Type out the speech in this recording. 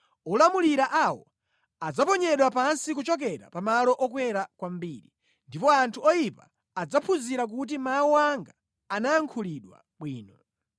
Olamulira awo adzaponyedwa pansi kuchokera pa malo okwera kwambiri, ndipo anthu oyipa adzaphunzira kuti mawu anga anayankhulidwa bwino.